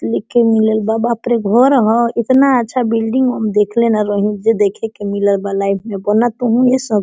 लिखेल मिलल बी बाप रे घर ह इतना अच्छा बिल्डिंग हम देखले न रही जो देखे के मिलल बा लाइफ में बनत तो होंगे सब।